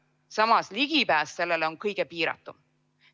Samas ligipääs sellele on kõige piiratum.